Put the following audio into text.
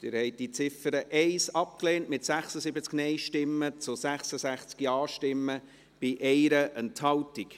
Sie haben die Ziffer 1 abgelehnt mit 76 Nein- zu 66 Ja-Stimmen bei 1 Enthaltung.